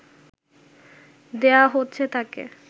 দেওয়া হচ্ছে তাকে